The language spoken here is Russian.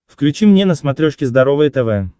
включи мне на смотрешке здоровое тв